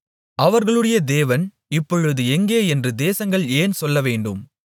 அவர்களுடைய தேவன் இப்பொழுது எங்கே என்று தேசங்கள் ஏன் சொல்லவேண்டும்